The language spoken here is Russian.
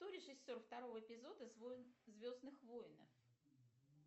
кто режиссер второго эпизода звездных воинов